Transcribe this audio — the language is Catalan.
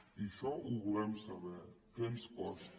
i això ho volem saber què ens costa